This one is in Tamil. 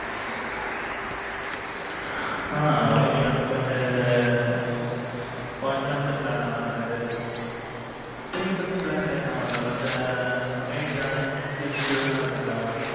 Ah. okay mam but one month plan னா mam இது. three months plan ல என்ன mam. இந்த Amazon, Netflix இதுல்லாம் இருக்கும்ல mam.